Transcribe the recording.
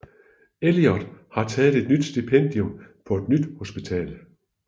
Elliot har taget et nyt stipendium på et nyt hospital